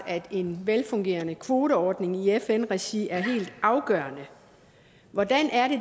at en velfungerende kvoteordning i fn regi er helt afgørende hvordan